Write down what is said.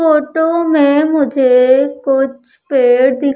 photo में मुझे कुछ पेड़ दिख--